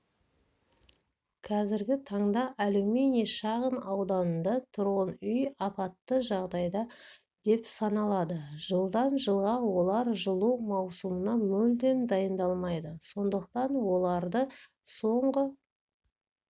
қазіргі таңда алюминий шағын ауданында тұрғын үй апатты жағдайда деп саналады жылдан жылға олар жылу маусымына мүлдем дайындалмайды сондықтан оларды соңғы